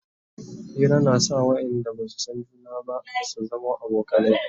Hira na sa wayanda Basu San juna ba su zamo abokanai